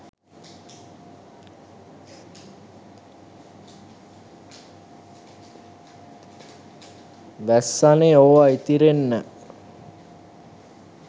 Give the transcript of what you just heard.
වැස්සනෙ ඕව ඉතිරෙන්න.